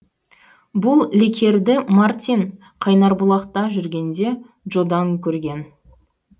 бұл лекерді мартин қайнарбұлақта жүргенде джодан көрген